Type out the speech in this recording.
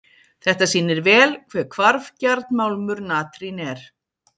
Þetta sýnir vel hve hvarfgjarn málmur natrín er.